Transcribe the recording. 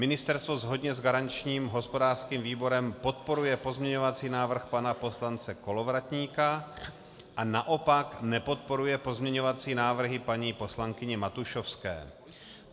Ministerstvo shodně s garančním hospodářským výborem podporuje pozměňovací návrh pana poslance Kolovratníka a naopak nepodporuje pozměňovací návrhy paní poslankyně Matušovské.